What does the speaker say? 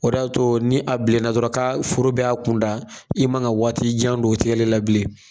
O de y'a to ni a bilenna dɔrɔn ka foro bɛ y'a kun da i man ka waati jan don tgɛli la bilen.